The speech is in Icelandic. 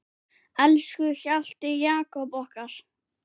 Elsku Hjalti Jakob okkar.